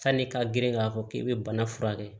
Sanni ka girin k'a fɔ k'i bɛ bana furakɛ